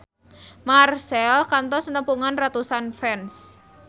Marchell kantos nepungan ratusan fans